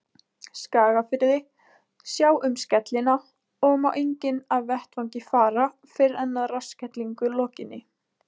Skagafirði, sjá um skellina, og má enginn af vettvangi fara fyrr en að rassskellingu lokinni.